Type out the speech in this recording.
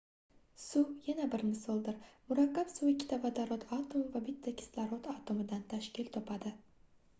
suv yana bir misoldir murakkab suv ikkita vodorod atomi va bitta kislorod atomidan tashkil topadi